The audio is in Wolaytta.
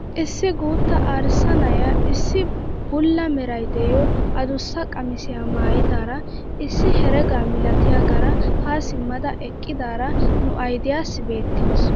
Issi guutta arssa na'iyaa issi bulla meray de'iyoo adussa qamisiyaa maayidara issi herega milatiyaagara haa simmada eqqidaara nu aydiyaassi beettawus.